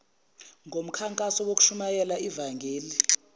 komkhankaso wokushumayela ivangeli